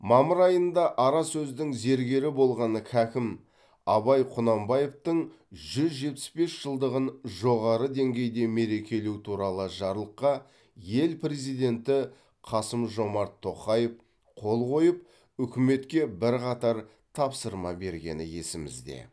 мамыр айында ара сөздің зергері болған хакім абай құнанбаевтың жүз жетпіс бес жылдығын жоғары деңгейде мерекелеу туралы жарлыққа ел президенті қасым жомарт тоқаев қол қойып үкіметке бірқатар тапсырма бергені есімізде